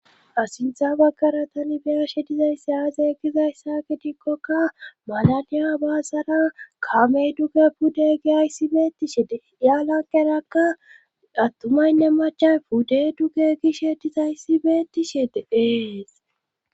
Ha sintha baggara tani biyashe dizaysse aazeegizayssa gidikkoka malaniya baasara kamey dugge pudde gi ayssi beetishe de ya lanqerakka attumaynne macha pudde duge gishe dizayssi beetishe deeees.